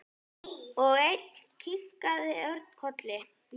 Og enn kinkaði Örn kolli.